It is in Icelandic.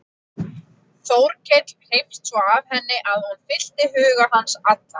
Sannleikurinn er fagurt hugtak.